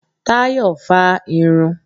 Táyọ́ fá á irun.